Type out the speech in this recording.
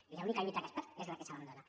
i l’única lluita que es perd és la que s’abandona